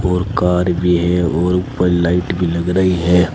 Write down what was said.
और कार भी है और ऊपर लाइट भी लग रही है।